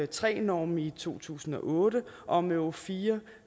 tre norm i to tusind og otte og om euro fire